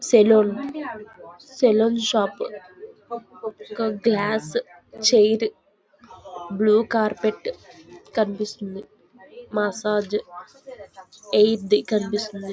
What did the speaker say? Salon salon shop ఒక glass chair blue carpet కనిపిస్తుంది. Massage కనిపిస్తుంది.